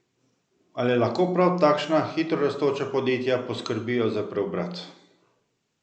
Ali lahko prav takšna hitrorastoča podjetja poskrbijo za preobrat?